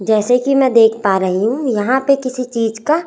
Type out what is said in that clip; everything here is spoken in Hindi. जैसे कि मैं देख पा रही हूँ यहाँ पे किसी चीज का--